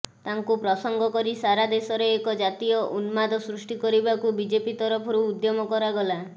ତାକୁ ପ୍ରସଙ୍ଗ କରି ସାରା ଦେଶରେ ଏକ ଜାତୀୟ ଉନ୍ମାଦ ସୃଷ୍ଟି କରିବାକୁ ବିଜେପି ତରଫରୁ ଉଦ୍ୟମ କରାଗଲା